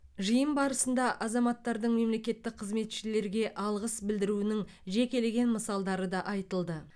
жиын барысында азаматтардың мемлекеттік қызметшілерге алғыс білдіруінің жекелеген мысалдары да айтылды